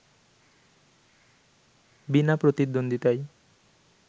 বিনা প্রতিদ্বন্দ্বিতায়